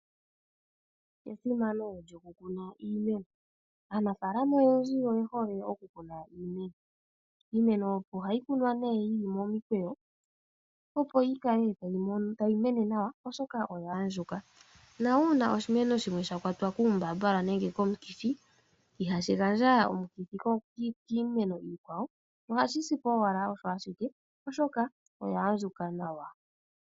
Esimano lyo ku kuna iimeno, aanafaalama oyendji oye hole oku kuna iimeno, iimeno ohayi kunwa nee yili momikweyo opo yi kale tayi mene nawa oshoka oya andjuka na uuna oshimeno shimwe sha kwatwa kuumbambala nenge komukithi ihashi gandja omukithi kiimeno iikwawo ohashi si po owala osho ashike oshoka oya andjuka nawa.